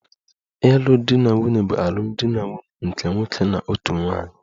Ịlụ di na nwunye bụ alụmdi na nwunye nke nwoke na otu nwunye